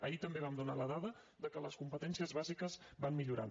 ahir també vam donar la dada que les competències bàsiques van millorant